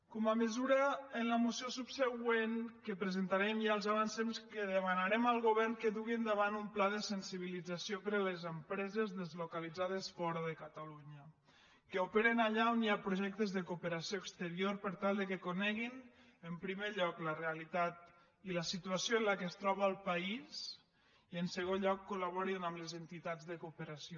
com a mesura en la moció subsegüent que presentarem ja els avancem que demanarem al govern que dugui endavant un pla de sensibilització per a les empreses deslocalitzades fora de catalunya que operen allà on hi ha projectes de cooperació exterior per tal que coneguin en primer lloc la realitat i la situació en què es troba el país i en segon lloc col·laborin amb les entitats de cooperació